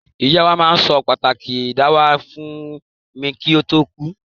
Ìyá mi ma n so pàtàki dáwà fun mi ki o to kú